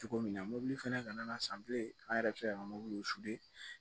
Cogo min na mobili fɛnɛ kana san bilen an yɛrɛ bɛ se ka mobili